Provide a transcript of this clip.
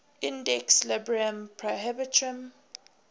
index librorum prohibitorum